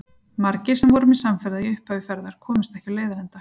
Margir sem voru mér samferða í upphafi ferðar komust ekki á leiðarenda.